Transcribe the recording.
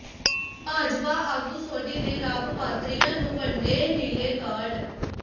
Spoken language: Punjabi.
ਭਾਜਪਾ ਆਗੂ ਸੋਢੀ ਨੇ ਲਾਭਪਾਤਰੀਆਂ ਨੂੰ ਵੰਡੇ ਨੀਲੇ ਕਾਰਡ